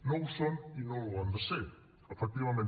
no ho són i no ho han de ser efectivament